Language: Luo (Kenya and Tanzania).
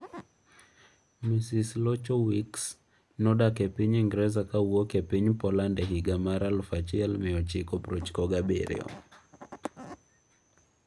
Ms Lechowicz nodak e piny Ingresa kowuok e piny Poland e higa mar 1997.